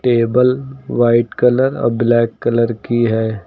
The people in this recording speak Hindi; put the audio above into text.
टेबल व्हाइट कलर आ ब्लैक कलर की है।